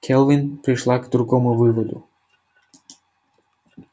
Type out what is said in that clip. келвин пришла к другому выводу